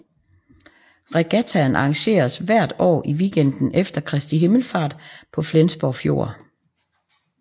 Regattaen arrangeres hvert år i weekenden efter Kristi Himmelfart på Flensborg Fjord